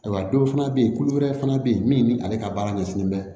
Ayiwa dɔw fana bɛ yen kulu wɛrɛ fana bɛ yen min bɛ ale ka baara ɲɛsinnen bɛ